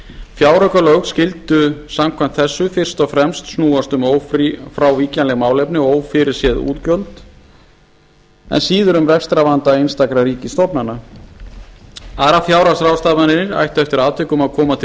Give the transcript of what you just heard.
fjáraukalög skyldu samkvæmt þessu fyrst og fremst snúast um ófrávíkjanleg málefni og ófyrirséð útgjöld en síður um rekstrarvanda einstakra ríkisstofnana aðrar fjárhagsráðstafanir ættu eftir atvikum að koma til